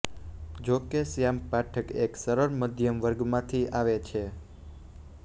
જોકે શ્યામ પાઠક એક સરળ મધ્યમ વર્ગમાંથી આવે છે